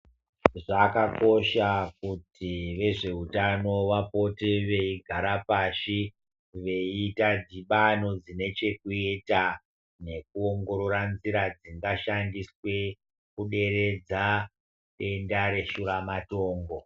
Zvakakosha kuti vezveutano vapote veigara pashi. Veiita dhibano dzine chekuita nekuongorora nzira dzingashandiswe kuderedza denda reshura matongo.